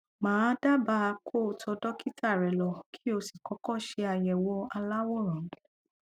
mà á dábàá kó o tọ dọkítà rẹ lọ kí o sì kọkọ ṣe àyẹwò aláwòrán